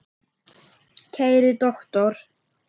Kæri doktor